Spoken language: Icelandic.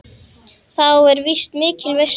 Þá var víst mikil veisla.